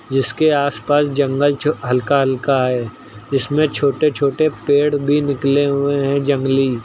जिसके आस पास जंगल जो हल्का हल्का है इसमें छोटे छोटे पेड़ भी निकले हुए हैं जंगली।